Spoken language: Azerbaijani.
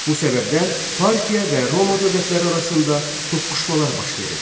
Bu səbəbdən Parfiya və Roma dövlətləri arasında toqquşmalar baş verirdi.